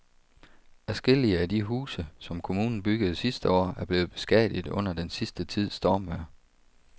Adskillige af de huse, som kommunen byggede sidste år, er blevet beskadiget under den sidste tids stormvejr.